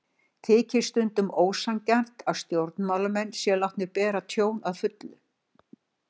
Þykir stundum ósanngjarnt að stjórnarmenn séu látnir bera tjón að fullu.